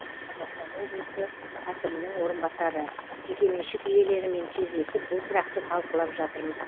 шығыс қазақстан облысы әкімінің орынбасары жекеменшік иелерімен кездесіп бұл сұрақты талқылап жатырмыз